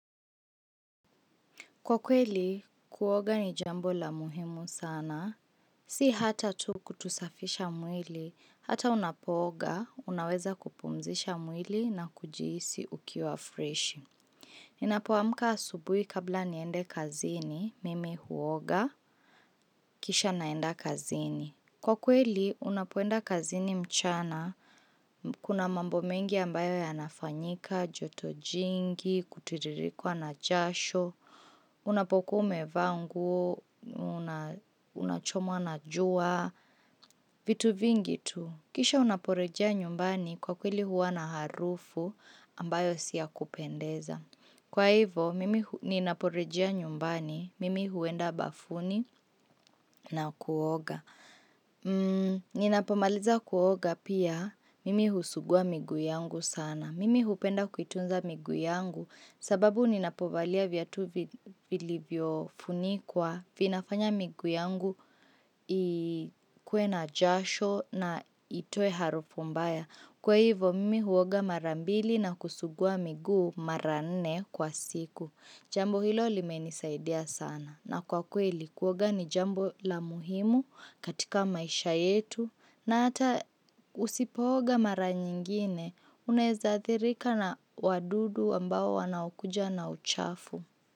Kwa kweli, kuoga ni jambo la muhimu sana. Si hata tu kutusafisha mwili, hata unapooga, unaweza kupumzisha mwili na kujihisi ukiwa fresh. Ninapoamka asubui kabla niende kazini, mimi huoga, kisha naenda kazini. Kwa kweli, unapoenda kazini mchana, kuna mambo mengi ambayo yanafanyika, joto jingi, kutiririkwa na jasho. Unapokua umevaa nguo, unachomwa na jua, vitu vingitu. Kisha unaporejia nyumbani kwa kweli huwa na harufu ambayo si ya kupendeza. Kwa hivo, mimi ninaporejea nyumbani, mimi huenda bafuni na kuoga. Ninapomaliza kuoga pia, mimi husugua migu yangu sana. Mimi hupenda kuitunza migu yangu sababu ninapovalia vyatu vilivyo funikwa vinafanya migu yangu ikue na jasho na itoe harufu mbaya. Kwa hivo mimi huoga mara mbili na kusugua migu mara nne kwa siku. Jambo hilo limenisaidia sana. Na kwa kweli kuoga ni jambo la muhimu katika maisha yetu na ata usipoga mara nyingine unezaadhirika na wadudu ambao wanakuja na uchafu.